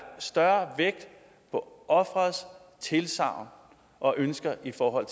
større vægt på ofrets tilsagn og ønsker i forhold